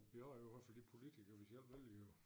Jo jo også de politikere vi selv vælger jo